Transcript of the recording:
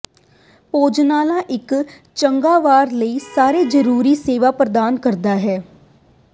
ਭੋਜਨਾਲਾ ਇੱਕ ਚੰਗਾ ਵਾਰ ਲਈ ਸਾਰੇ ਜਰੂਰੀ ਸੇਵਾ ਪ੍ਰਦਾਨ ਕਰਦਾ ਹੈ